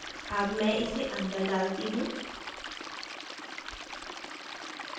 अब मैं इसे अंदर डालती हूँ